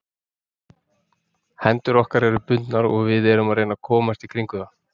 Hendur okkar eru bundnar og við erum að reyna að komast í kringum það.